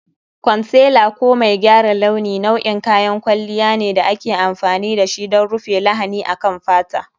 Concealer ko mai gyara launi nau'in kayan kwalliya ne da ake amfani da shi don rufe lahani akan fata.